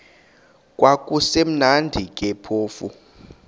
kwakusekumnandi ke phofu